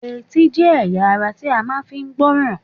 Etí jẹ́ ẹ̀yà ara ti a máa fi ń gbọ́ràn